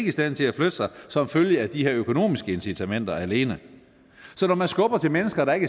i stand til at flytte sig som følge af de her økonomiske incitamenter alene så når man skubber til mennesker der ikke